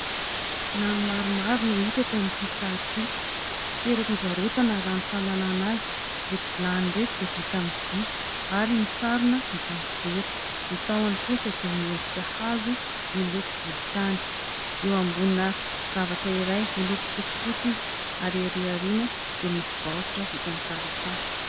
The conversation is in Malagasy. Vilany maromaro no hita eto amin'ity sary ity. Toeram-pivarotana raha ny fahalalàna azy. Ireto vilany reto dia vita amin'ny vy ary misarona vita amin' ny vera. Ny tahony kosa dia miendrika hazo miloko volontany. Eo ambonina zavatra iray miloko fotsifotsy izy, ary ery aoriana dia misy baoritra vita amin' ny taratasy.